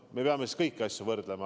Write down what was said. Me peame kõiki asju võrdlema.